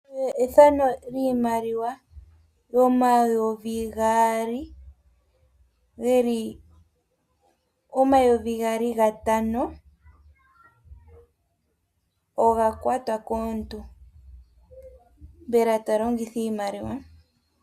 Okapandi kiimaliwa yomwaalu omayovi gatano, mbyoka oka kwatwa komuntu, opo eke yi longithe.